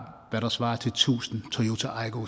det der svarer til tusind toyota aygoer